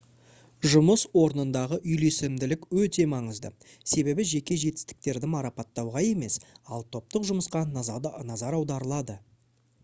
жұмыс орнындағы үйлесімділік өте маңызды себебі жеке жетістіктерді марапаттауға емес ал топтық жұмысқа назар аударылады